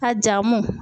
A jamu